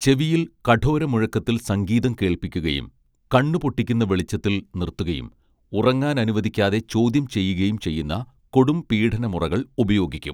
ചെവിയിൽ കഠോര മുഴക്കത്തിൽ സംഗീതം കേൾപ്പിക്കുകയും കണ്ണുപൊട്ടിക്കുന്ന വെളിച്ചത്തിൽ നിർത്തുകയും ഉറങ്ങാനനുവദിക്കാതെ ചോദ്യം ചെയ്യുകയും ചെയ്യുന്ന കൊടും പീഡനമുറകൾ ഉപയോഗിക്കും